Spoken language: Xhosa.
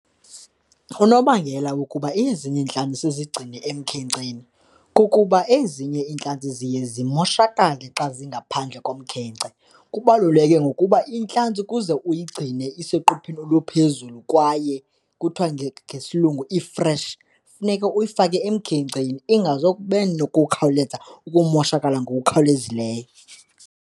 Unobangela ukuba ezinye iintlanzi sizigcine emkhenkceni kukuba ezinye iintlanzi ziye zimoshakale xa zingaphandle komkhence. Kubaluleke ngokuba intlanzi ukuze uyigcine iseqopheni oluphezulu kwaye kuthiwa ngesilungu ifreshi, funeka uyifake emkhenkceni ingazukube nokukhawuleza ukumoshakala ngokukhawulezileyo.